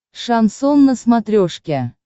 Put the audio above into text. шансон на смотрешке